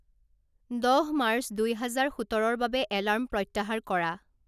দহ মাৰ্চ দুই হাজাৰ সোতৰৰ বাবে এলাৰ্ম প্ৰত্যাহাৰ কৰা